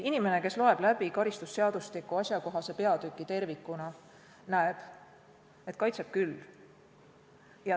Inimene, kes loeb läbi karistusseadustiku asjakohase peatüki tervikuna, näeb, et kaitseb küll.